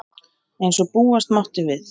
Eins og búast mátti við